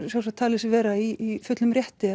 sjálft talið sig vera í fullum rétti